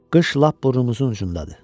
Qış lap burnumuzun ucundadır.